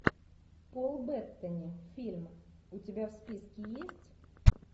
пол беттани фильм у тебя в списке есть